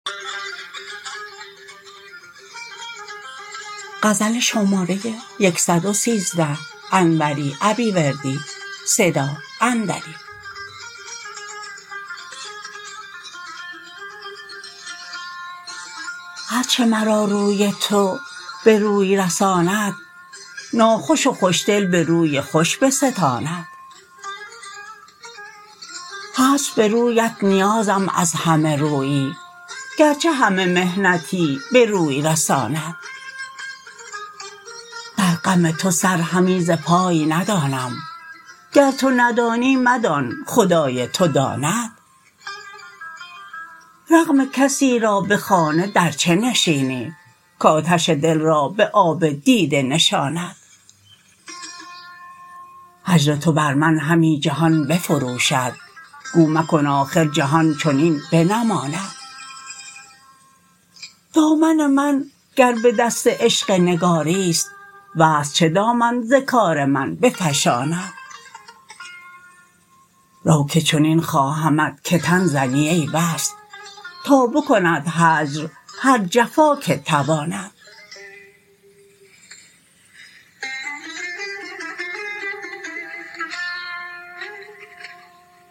هرچه مرا روی تو به روی رساند ناخوش و خوش دل به روی خوش بستاند هست به رویت نیازم از همه رویی گرچه همه محنتی به روی رساند در غم تو سر همی ز پای ندانم گر تو ندانی مدان خدای تو داند رغم کسی را به خانه در چه نشینی کاتش دل را به آب دیده نشاند هجر تو بر من همی جهان بفروشد گو مکن آخر جهان چنین بنماند دامن من گر به دست عشق نگاریست وصل چه دامن ز کار من بفشاند رو که چنین خواهمت که تن زنی ای وصل تا بکند هجر هر جفا که تواند